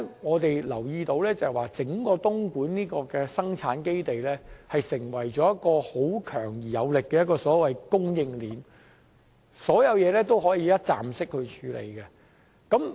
我們留意到，整個東莞生產基地是一條強而有力的供應鏈，所有事情也可以一站式處理。